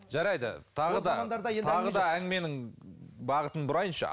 жарайды тағы да тағы да әңгіменің бағытын бұрайыншы